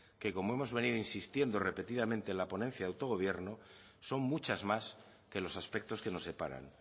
que como hemos venido insistiendo repetidamente en la ponencia de autogobierno son muchas más que los aspectos que nos separan